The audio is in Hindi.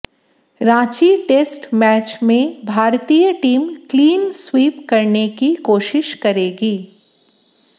रांची टेस्ट मैच में भारतीय टीम क्लीन स्वीप करने की कोशिश करेगी